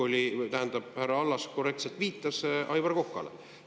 Härra Allas korrektselt viitas Aivar Kokale.